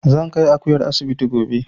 Zan kai Akuyar asibiti gobe